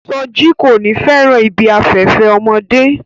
Soji ko ni fẹràn ibi afẹfẹ ọmọdé.